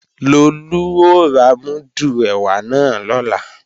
Lolú ó ra múdù ẹ̀wà náà lọ́la